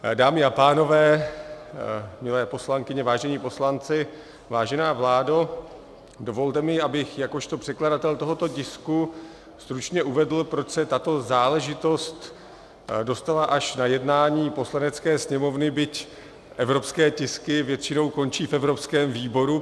Dámy a pánové, milé poslankyně, vážení poslanci, vážená vládo, dovolte mi, abych jakožto předkladatel tohoto tisku stručně uvedl, proč se tato záležitost dostala až na jednání Poslanecké sněmovny, byť evropské tisky většinou končí v evropském výboru.